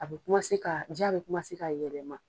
A bɛ ka, diya bɛ ka yɛlɛma.